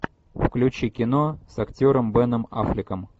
включи кино с актером беном аффлеком